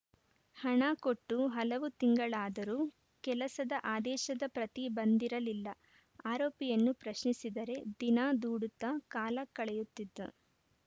ಹಣ ಕೊಟ್ಟು ಹಲವು ತಿಂಗಳಾದರೂ ಕೆಲಸದ ಆದೇಶದ ಪ್ರತಿ ಬಂದಿರಲಿಲ್ಲ ಆರೋಪಿಯನ್ನು ಪ್ರಶ್ನಿಸಿದರೆ ದಿನ ದೂಡುತ್ತಾ ಕಾಲ ಕಳೆಯುತ್ತಿದ್ದ